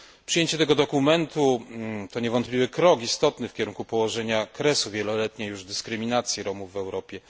Przyjęcie tego dokumentu to niewątpliwy istotny krok w kierunku położenia kresu wieloletniej już dyskryminacji Romów w Europie.